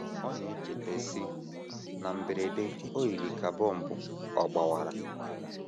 Ọ na - echeta, sị: “ Na mberede, o yiri ka bọmbụ ọ̀ gbawara.